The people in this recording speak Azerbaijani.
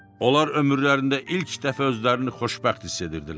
Onlar ömürlərində ilk dəfə özlərini xoşbəxt hiss edirdilər.